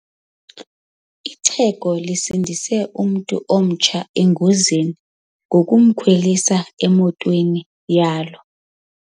Ixhego lisindise umntu omtsha engozini ngokumkhwelisa emotweni yalo.